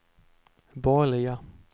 borgerliga